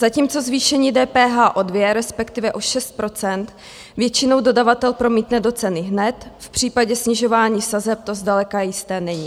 Zatímco zvýšení DPH o dvě, respektive o šest procent většinou dodavatel promítne do ceny hned, v případě snižování sazeb to zdaleka jisté není.